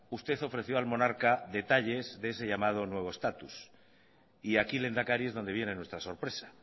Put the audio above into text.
usted ofreció al monarca detalles de ese llamado nuevo estatus y aquí lehendakari es donde viene nuestra sorpresa